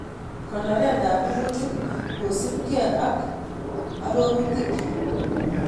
Konoret ab rurutik kosupkei ak arorutikchi